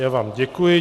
Já vám děkuji.